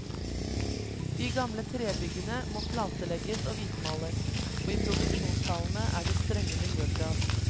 De gamle trebyggene må platelegges og hvitmales, og i produksjonshallene er det strenge miljøkrav.